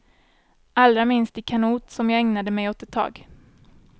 Allra minst i kanot som jag ägnade mig åt ett tag.